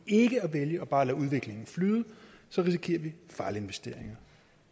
ikke at vælge og bare lade udviklingen flyde risikerer vi fejlinvesteringer